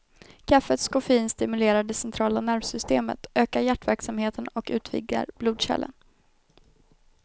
Kaffets koffein stimulerar det centrala nervsystemet, ökar hjärtverksamheten och utvidgar blodkärlen.